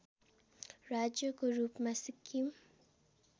राज्यको रूपमा सिक्किम